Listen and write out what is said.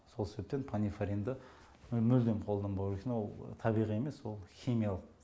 сол себептен панифаринді мүлдем қолданбау үшін ол табиғи емес ол химиялық